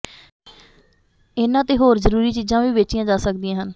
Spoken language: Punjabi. ਇਹਨਾਂ ਤੇ ਹੋਰ ਜ਼ਰੂਰੀ ਚੀਜ਼ਾਂ ਵੀ ਵੇਚੀਆਂ ਜਾ ਸਕਦੀਆਂ ਹਨ